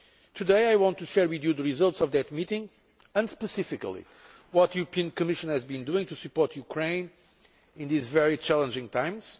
Today I want to share with you the results of that meeting, and specifically to tell you what the European Commission has been doing to support Ukraine in these very challenging times.